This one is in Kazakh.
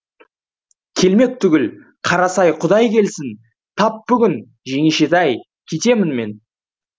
келмек түгіл қарасай құдай келсін тап бүгін жеңешетай кетемін мен